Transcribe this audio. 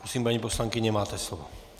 Prosím, paní poslankyně, máte slovo.